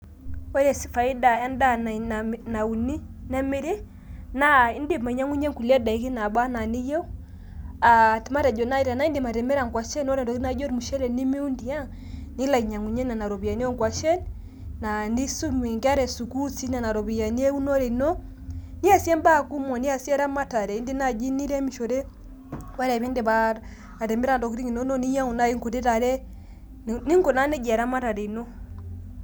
ore faida endaa nauni nemiri naa indim ainyiang'unyie nkulie daiki nabaana niyieu aa matejo naii enaindim atimira nkuashen ntokitng' naijio olmushele nimiwuun tiang' nilo ainyiang'unyiee nena ropiyiani onkuashen naninye isumie inkera esukuul tenena ropiyiani ebiiashara ino, niasie mbaa kumok indiim naii niremishore wore pindip atimire ntokiting' inonok ninyiang'u naii nkuti tare ninkunaa nai nejia eramatare ino